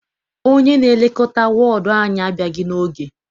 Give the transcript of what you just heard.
Onye na-elekọta wọọdụ anyị abịaghị n'oge.